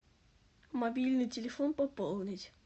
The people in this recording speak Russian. мобильный телефон пополнить